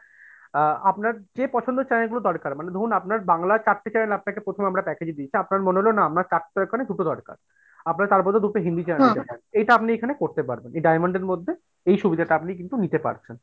আ আপনার যে পছন্দের channel গুলো দরকার মানে ধরুন আপনার বাংলার চারটা channel প্রথমে আমরা আপনাকে package এ দিয়েছি, আপনার মনে হলো না আমার চারটা লাগবে না দুটো দরকার আপনার তার বদলে দুটো হিন্দি channel এটা আপনি এখানে করতে পারবেন, এই diamond এর মধ্যে এই সুবিধাটা কিন্তু আপনি নিতে পারছেন।